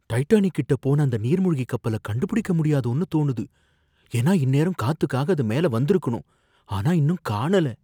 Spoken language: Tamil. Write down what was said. டைட்டானிக் கிட்ட போன அந்த நீர்மூழ்கிக் கப்பல கண்டுபிடிக்க முடியாதோன்னு தோணுது ஏன்னா இந்நேரம் காத்துக்காக அது மேல வந்திருக்கணும், ஆனா இன்னும் காணல